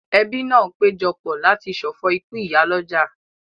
Ẹbí náà péjọ pọ̀ láti ṣọ̀fọ̀ ikú ìyálọ́jà